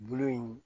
Bulu in